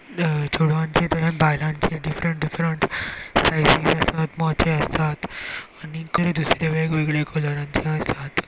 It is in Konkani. अ चोडवांचे तहेत बायलांचे डीफ्रंट डीफ्रंट सायजी आसात मोचे आसात आनीकुय दुसरे वेग वेगळे कलराचे आसात.